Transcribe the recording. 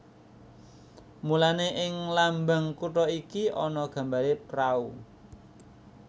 Mulané ing lambang kutha iki ana gambaré prau